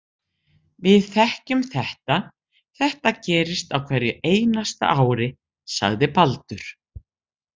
Við þekkjum þetta, þetta gerist á hverju einasta ári, sagði Baldur.